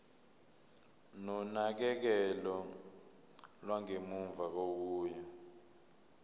nonakekelo lwangemuva kokuya